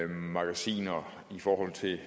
magasiner i forhold til